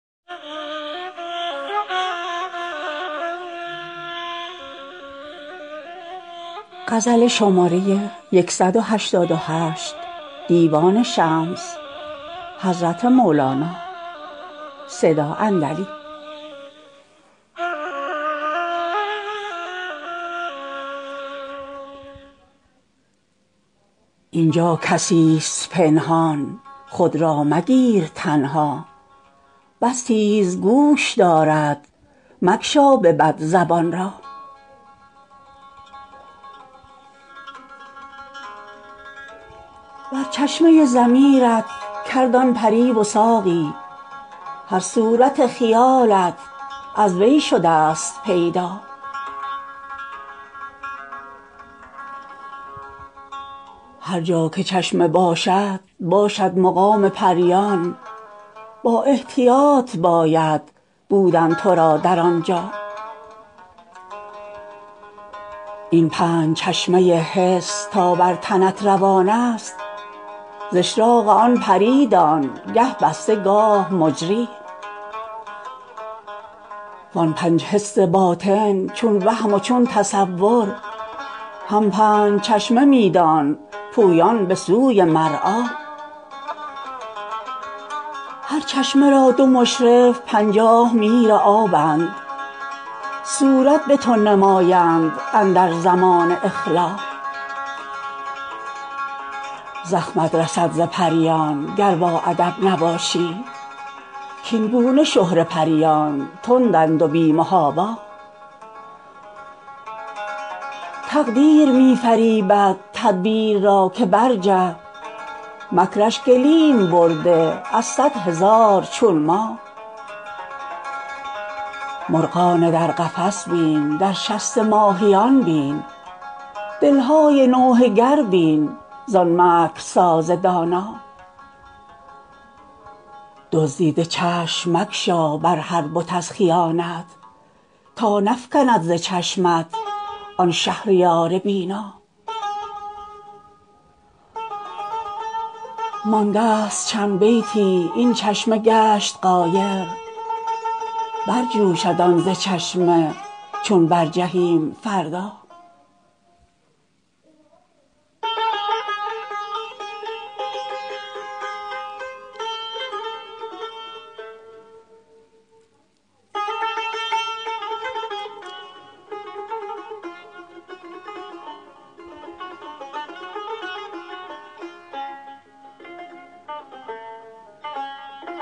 اینجا کسی ست پنهان خود را مگیر تنها بس تیز گوش دارد مگشا به بد زبان را بر چشمه ضمیر ت کرد آن پری وثاقی هر صورت خیالت از وی شده ست پیدا هر جا که چشمه باشد باشد مقام پریان با احتیاط باید بودن تو را در آنجا این پنج چشمه حس تا بر تنت روان است ز اشراق آن پری دان گه بسته گاه مجری وان پنج حس باطن چون وهم و چون تصور هم پنج چشمه می دان پویان به سوی مرعی هر چشمه را دو مشرف پنجاه میرابند صورت به تو نمایند اندر زمان اجلا زخمت رسد ز پریان گر باادب نباشی کاین گونه شهره پریان تندند و بی محابا تقدیر می فریبد تدبیر را که برجه مکر ش گلیم برده از صد هزار چون ما مرغان در قفس بین در شست ماهیان بین دل های نوحه گر بین زان مکرساز دانا دزدیده چشم مگشا بر هر بت از خیانت تا نفکند ز چشمت آن شهریار بینا مانده ست چند بیتی این چشمه گشت غایر برجوشد آن ز چشمه چون برجهیم فردا